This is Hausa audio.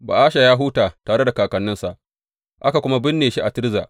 Ba’asha ya huta tare da kakanninsa, aka kuma binne shi a Tirza.